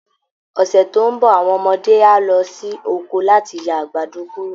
Ọ̀sẹ̀ tó ń bọ̀ àwọn ọmọdé á lọ sí oko láti ya àgbàdo kúrò